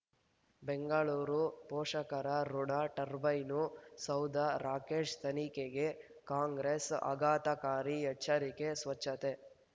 ಬೆಂಗಳೂರು ಪೋಷಕರಋಣ ಟರ್ಬೈನು ಸೌಧ ರಾಕೇಶ್ ತನಿಖೆಗೆ ಕಾಂಗ್ರೆಸ್ ಆಘಾತಕಾರಿ ಎಚ್ಚರಿಕೆ ಸ್ವಚ್ಛತೆ